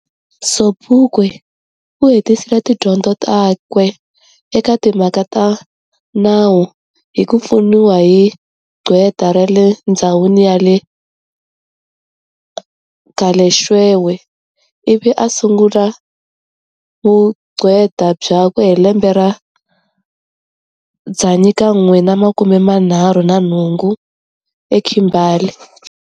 Sobukwe u hetisile tidyondzo takwe eka timhaka ta nawu hi ku pfuniwa hi qhweta rale ndzhawini ya Galeshwewe, ivi a sungula vuqhweta byakwe hi lembe ra 1975 eKimberley.